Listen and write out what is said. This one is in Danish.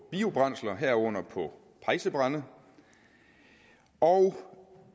biobrændsler herunder på pejsebrænde og